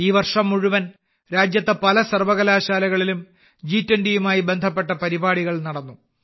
ഈ വർഷം മുഴുവൻ രാജ്യത്തെ പല സർവ്വകലാശാലകളിലും ജി20യുമായി ബന്ധപ്പെട്ട പരിപാടികൾ നടന്നു